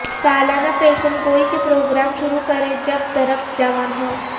سالانہ پیشن گوئی کے پروگرام شروع کریں جب درخت جوان ہو